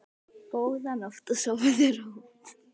Góða nótt og sofðu rótt.